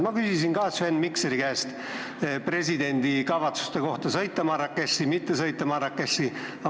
Mina küsisin Sven Mikseri käest presidendi kavatsuste kohta Marrakechi sõita või mitte sõita.